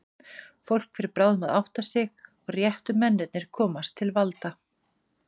Fólk fer bráðum að átta sig, og réttu mennirnir komast til valda.